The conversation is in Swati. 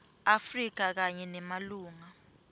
afrika kanye nemalunga